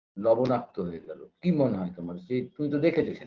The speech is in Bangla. লবনাক্ত হয়ে গেল কী মনে হয় তোমার যে তুমি তো দেখেছো